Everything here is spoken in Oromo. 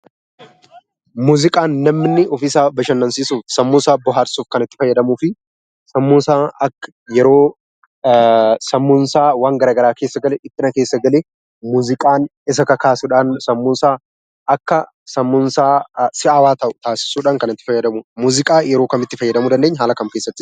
Muuziqaan namni ofii isaa bashannansiisuuf sammuu isaa bohaarsuuf kan itti fayyadamuu fi sammuu isaa yeroo waan garaagaraa keessa gale, dhiphina keessa gale muuziqaan isa kakaasuudhaan sammuu isaa akka si'aawaa ta'u taasisuudhaan kan itti fayyadamudha. Muuziqaa yeroo kam itti fayyadamu dandeenya, haala kam keessatti itti fayyadamuu dandeenya?